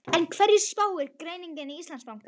En hverju spáir greining Íslandsbanka?